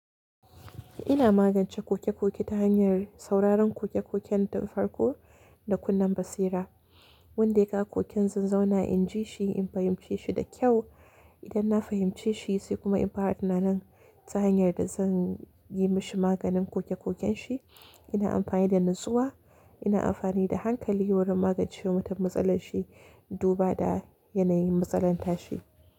Ina magance koke-koke ta hanyar sauraron koke-koken tun farko da kunnen basira. Wanda ya kawo koken zanzauna in ji shi, in fahimce shi da kyau. Idan na fahimce shi sai kuma in fara tunanin ta hanyar da zan yi mashi maganin koke-koken shi. Ina amfani da natsuwa, ina amfani da hankali wurin magance mutun matsalar shi, duba da yanayin matsalar ta shi.